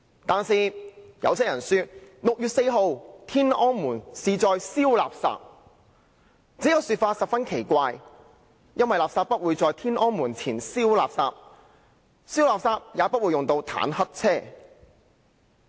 但是，有些人說 ，6 月4日天安門是在燒垃圾。這個說法十分奇怪，因為垃圾不會在天安門前燒，燒垃圾也不會用到坦克車。